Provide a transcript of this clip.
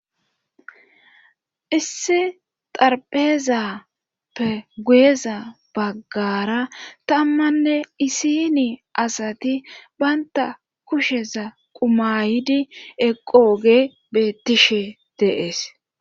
issi xarphezappe guyeza baggara tammanne isini asati baynta kusheza qumayidi eqooge beettishe deees